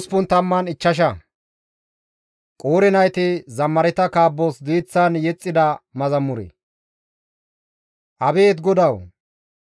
Abeet GODAWU! Neni ne biittas kiyateth bessadasa; Yaaqoobe di7ettidasoppe zaaradasa.